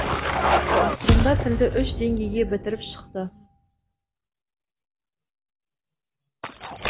ақырында тілді үш деңгейге бітіріп шықты